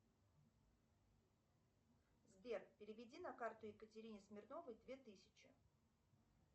сбер переведи на карту екатерины смирновой две тысячи